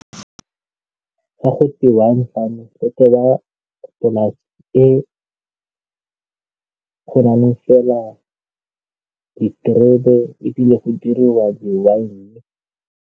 Ga go twe wine farming, go tewa polase e go na le fela diterebe ebile go diriwa di-wine.